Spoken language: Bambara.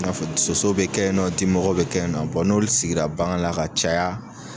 I n'a fɔ soso be kɛ ye nɔ dimɔgɔw be kɛ ye nɔ. n'olu sigira bagan la ka caya